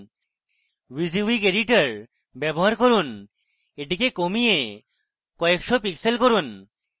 wysiwyg editor ব্যবহার করুন এটিকে কমিয়ে কয়েকশ pixels করুন